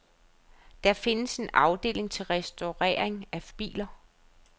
Der findes en afdeling til restaurering af biler.